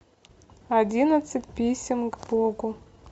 одиннадцать писем к богу